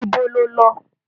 Ibo lọ lo?